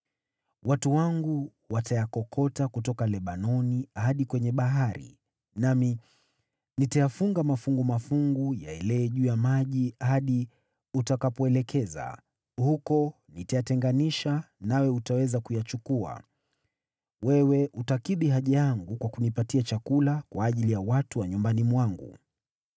Watu wangu watayakokota kutoka Lebanoni hadi kwenye bahari, nami nitayafunga mafungu mafungu yaelee juu ya maji hadi utakapoelekeza. Huko nitayatenganisha, nawe utaweza kuyachukua. Wewe utakidhi haja yangu kwa kunipatia chakula kwa ajili ya watu wa nyumbani mwangu.”